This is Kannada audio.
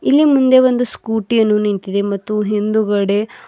ಇಲ್ಲಿ ಮುಂದೆ ಒಂದು ಸ್ಕೂಟಿ ಯನ್ನು ನಿಂತಿದೆ ಮತ್ತು ಹಿಂದುಗಡೆ--